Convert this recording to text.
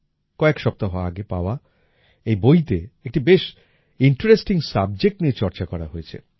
কয়েক সপ্তাহ আগে পাওয়া এই বইতে একটি বেশ ইন্টারেস্টিং সাবজেক্ট নিয়ে চর্চা করা হয়েছে